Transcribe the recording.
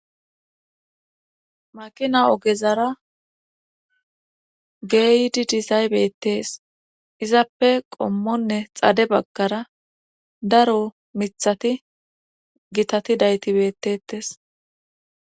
maqina ogezara geydi dizay bettes izappe qommonne xade bagkara daro mithati gitati daytibettettes